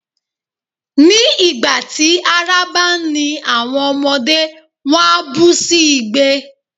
Ní ìgbà tí ara bá ń ni àwọn ọmọdé, wón á bú sí igbe.